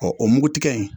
o mugutigɛ in